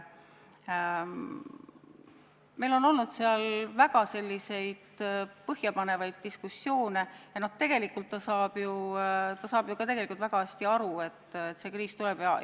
Meil on olnud väga põhjapanevaid diskussioone ja tegelikult ta saab väga hästi aru, et see kriis tuleb.